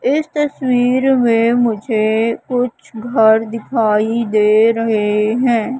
इस तस्वीर मे मुझे कुछ घर दिखाई दे रहे है।